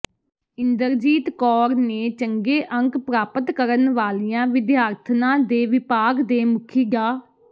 ਇੰਦਰਜੀਤ ਕੌਰ ਨੇ ਚੰਗੇ ਅੰਕ ਪ੍ਰਾਪਤ ਕਰਨ ਵਾਲੀਆਂ ਵਿਦਿਆਰਥਣਾਂ ਤੇ ਵਿਭਾਗ ਦੇ ਮੁਖੀ ਡਾ